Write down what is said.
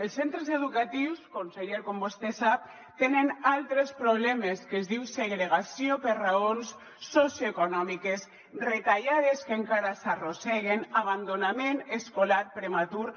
els centres educatius conseller com vostè sap tenen altres problemes que es diuen segregació per raons socioeconòmiques retallades que encara s’arrosseguen abandonament escolar prematur